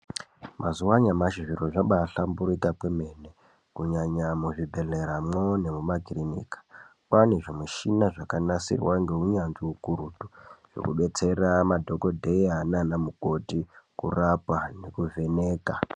Mazuva anyamashi zviro zvaklbaahlamburika kwemene kunyanya muzvibhedhleramo waanezvimichina zvakanasirwa neunyanzvi hukurutu zvekudetsera madhokoteya naana mukoti kurapa nekuvheneka.